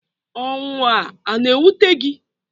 Ọnwụ a a na-ewute gi?